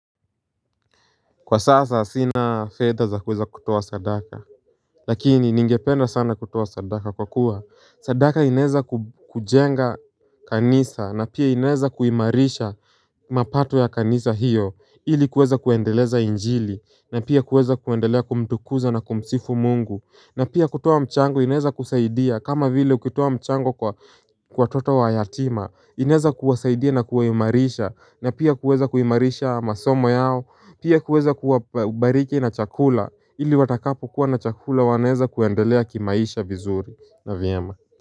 Kwa sasa sina fedha za kuweza kutowa sadaka Lakini ningependa sana kutowa sadaka kwa kuwa sadaka inaeza kujenga kanisa na pia inaeza kuimarisha mapato ya kanisa hiyo ili kuweza kuendeleza injili na pia kuweza kuendelea kumtukuza na kumsifu Mungu. Na pia kutoa mchango inaeza kusaidia kama vile ukitowa mchango kwa kwa watoto wa yatima inaweza kuwasaidia na kuwaimarisha na pia kuweza kuimarisha masomo yao, pia kuweza kuwabariki na chakula ili watakapokuwa na chakula wanaweza kuendelea kimaisha vizuri na vyema.